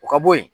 O ka bo yen